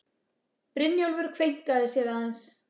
Brynjólfur kveinkar sér aðeins.